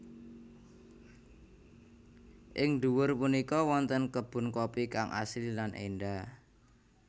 Ing dhuwur punika wonten kebun kopi kang asri lan èndah